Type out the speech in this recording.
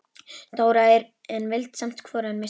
Dóra, en vildi samt hvorugan missa.